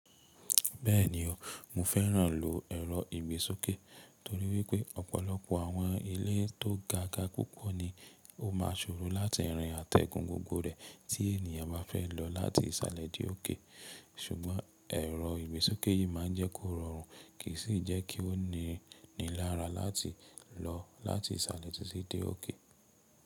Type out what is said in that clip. Bẹ́ẹ̀ni o, mo fẹ́ràn lò ẹ̀rọ ìgbésókè torí wípé ọ̀pọ̀lọpọ̀ àwọn ilé tó gaga púpọ̀ ni ó ma soro láti rìn àtẹgùn gbogbo rẹ̀ tí ènìyàn bá fẹ́ lọ láti ìsàlẹ̀ dé òkè, ṣùgbọ́n ẹ̀rọ ìgbésókè yìí máa ń jẹ́ kó rọrùn kì í sì jẹ́ kí o ní ní lára láti lọ láti ìsàlẹ̀ títí dé òkè.